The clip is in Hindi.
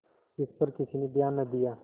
इस पर किसी ने ध्यान न दिया